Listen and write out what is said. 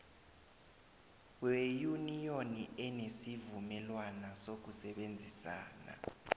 weyuniyoni enesivumelwana sokusebenzisana